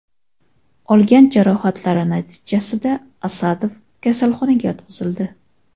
Olgan jarohatlari natijasida Asadov kasalxonaga yotqizildi.